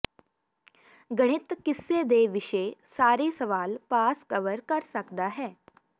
ਗਣਿਤ ਕਿੱਸੇ ਦੇ ਵਿਸ਼ੇ ਸਾਰੇ ਸਵਾਲ ਪਾਸ ਕਵਰ ਕਰ ਸਕਦਾ ਹੈ